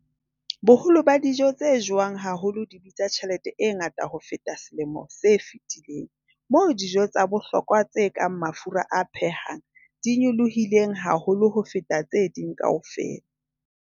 Boholo ba dijo tse jewang haholo di bitsa tjhelete e ngata ho feta selemo se fetileng, moo dijo tsa bohlokwa tse kang mafura a phehang di nyolohileng haholo ho feta tse ding kaofela.